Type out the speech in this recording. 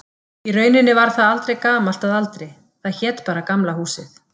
Í rauninni varð það aldrei gamalt að aldri, það hét bara Gamla húsið.